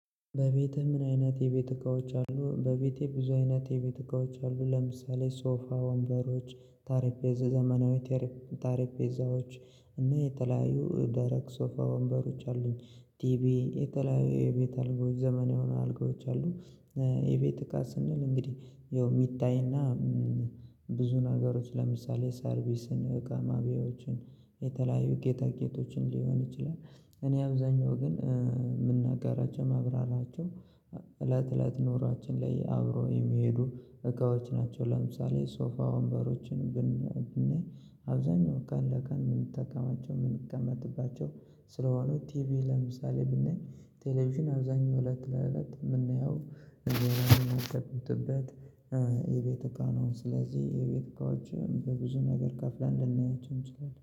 በቤትህ ምን አይነት የቤት እቃዎች አሉ? በቤቴ ብዙ አይነት የቤት እቃዎች አሉ። ለምሳሌ ሶፋ ወንበሮች ጠረፔዛ ዘመናዊ ጠረፔዛዎች እና የተለያዩ ደረቅ ሶፋ ወንበሮች አሉኝ። ቲቪ የተለያዩ የቤት አልጋዎች ዘመናዊ የሆኑ አልጋዎች አሉ። የቤት እቃ ስንል እንግዲህ ያው የሚታይና ብዙ ነገሮች ለምሳሌ ሰርቪስን እቃ ማብያዎችን የተለያዩ ጌጣጌጦችን ሊሆን ይችላል። እኔ አብዛኛው ግን የምናገራቸው ማብራራቸው እለት ኖሯችን ላይ አብረው የሚሄዱ እቃዎች ናቸው። ለምሳሌ ሶፋ ወንበሮችን ብናይ አብዛኛው ቀን ለቀን የምንጠቀማቸው የምንቀመጥባቸው ስለሆነው ቲቪ ለምሳሌ ብናይ ቴሌቪዥን አብዛኛው እለት ለእለት የምናየው እንግዲህ አሁን የምናጠፋበት እቃ ነው። ስለዚህ የቤት እቃዎች በብዙ ነገር ከፍለን ልናያቸው እንችላለን